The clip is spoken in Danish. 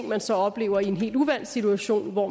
man så oplever i en helt uvant situation hvor